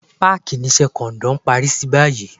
Páàkì ni Iṣẹ́ kọ̀ǹdọ́ ń parí sí báyìí